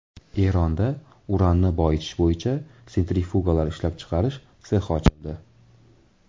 Eronda uranni boyitish bo‘yicha sentrifugalar ishlab chiqarish sexi ochildi.